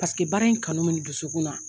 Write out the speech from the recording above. Paseke baara in kanu mi n dusukun na.